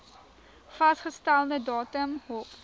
vasgestelde datum hof